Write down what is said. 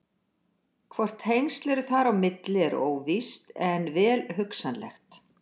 Hvort tengsl eru þar á milli er óvíst en vel hugsanlegt.